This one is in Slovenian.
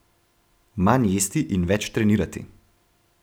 Manj jesti in več trenirati.